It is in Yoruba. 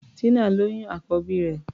Tínà lóyún àkọ́bí rẹ̀.